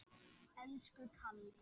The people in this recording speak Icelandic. Elsku Kalli.